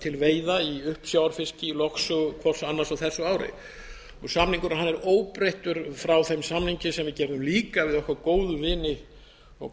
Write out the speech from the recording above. til veiða á uppsjávarfiski í lögsögu hvors annars á þessu ári samningurinn er óbreyttur frá þeim samningi sem við gerðum líka við okkar góðu vini og